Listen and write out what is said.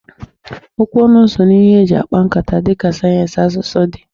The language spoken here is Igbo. Okwu ọnụ so n'ihe eji akpa nkata dịka sayensị asụsụ si dị.